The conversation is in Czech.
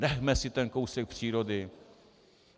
Nechme si ten kousek přírody.